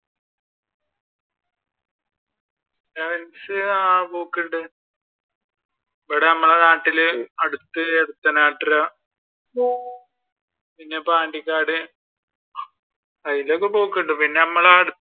Sevens ആഹ് പോക്കുണ്ട് ഇവിടെ നമ്മുടെ നാട്ടിൽ അടുത്ത് പിന്നെ പാണ്ടിക്കാട് അതിന്റെയൊക്കെ പോക്കുണ്ട്. പിന്നെ നമ്മൾ